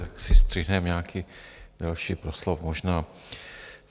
Tak si střihneme nějaký další proslov možná.